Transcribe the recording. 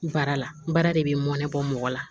Baara la n baara de bɛ nɛbɔ mɔgɔ la